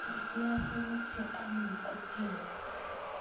baale piazik che anyiny Otieno